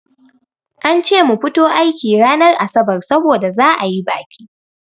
An ce mu fito aiki ranar asabar saboda za'a yi baƙi.